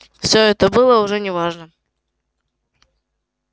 всё это было уже не важно